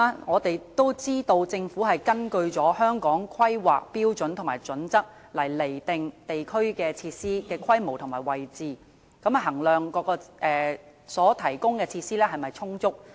我們也知道政府根據《規劃標準》釐定地區設施的規模和位置，從而衡量所提供的設施是否充足。